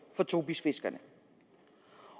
for tobisfiskerne